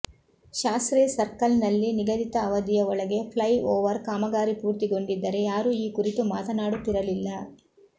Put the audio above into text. ಶಾಸ್ತ್ರಿ ಸರ್ಕಲ್ನಲ್ಲಿ ನಿಗದಿತ ಅವಧಿಯ ಒಳಗೆ ಫ್ಲೈ ಓವರ್ ಕಾಮಗಾರಿ ಪೂರ್ತಿಗೊಂಡಿದ್ದರೆ ಯಾರೂ ಈ ಕುರಿತು ಮಾತನಾಡುತ್ತಿರಲಿಲ್ಲ